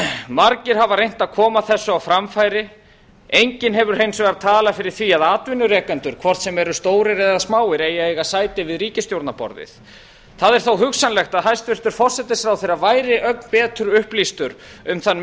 margir hafa reynt að koma þessu á framfæri enginn hefur hins vegar talað fyrir því að atvinnurekendur hvort sem eru stórir eða smáir eigi að eiga sæti við ríkisstjórnarborðið það er þó hugsanlegt að hæstvirtur forsætisráðherra væri ögn betur upplýstur um þann